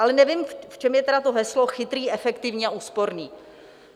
Ale nevím, v čem je tedy to heslo "chytrý, efektivní a úsporný".